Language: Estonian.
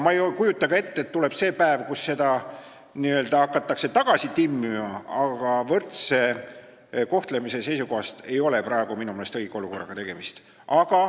Ma ei kujuta ka ette, et tuleb see päev, kui seda hakatakse n-ö tagasi timmima, aga võrdse kohtlemise seisukohast ei ole praegu minu meelest tegemist õige olukorraga.